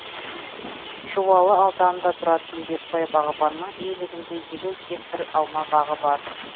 жуалы ауданында тұратын бекбай бағбанның иелігінде елу гектар алма бағы бар